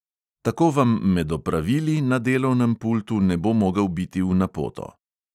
Tako vam med opravili na delovnem pultu ne bo mogel biti v napoto.